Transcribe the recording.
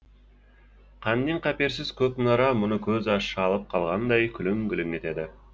қаннен қаперсіз көк мұнара мұны көзі шалып қалғандай күлің күлің етеді